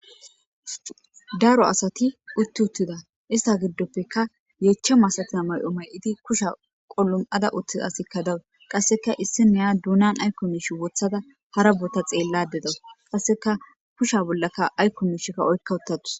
Daro asati utti uttida ista giddoppeka yeecha masatina may'o may'iti kusha qolum'ada uttia asikka dawu qasseka issi neya duunan aykko miishi wothada hara bota xeelladedaws qasseka kusha bollaka aykko miishikka oykka uttatus